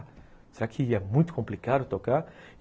Será que é muito complicado tocar?